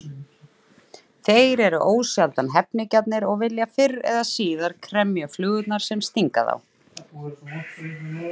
Þeir eru ósjaldan hefnigjarnir og vilja fyrr eða síðar kremja flugurnar sem stinga þá.